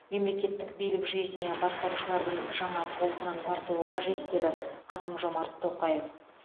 мемлекеттік билік жүйесіне басқарушылардың жаңа толқынын тарту қажет деді қасым жомарт тоқаев